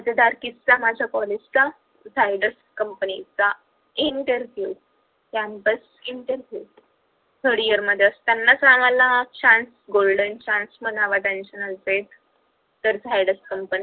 मजेदार किस्सा माझ्या college चा zaydus company चा interview campus interviewthird year मध्ये असतानाच आम्हाला chance golden chance म्हणावा तर zaydus company